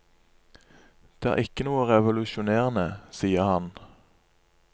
Det er ikke noe revolusjonerende, sier han.